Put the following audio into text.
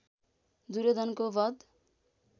दुर्योधनको वध